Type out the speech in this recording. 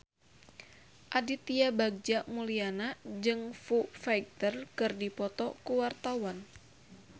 Aditya Bagja Mulyana jeung Foo Fighter keur dipoto ku wartawan